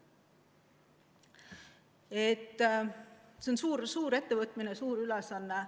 See on suur ettevõtmine, suur ülesanne.